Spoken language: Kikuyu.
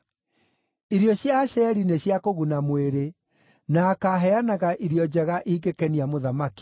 “Irio cia Asheri nĩ cia kũguna mwĩrĩ; na akaaheanaga irio njega ingĩkenia mũthamaki.